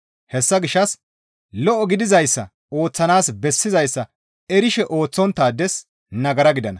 Hessa gishshas lo7o gidizayssa ooththanaas bessizayssa erishe ooththonttaades nagara gidana.